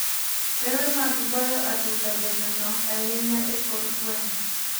Pewe mag goyo adhula bende nok ahinya e kor gwenge.